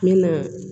Ne na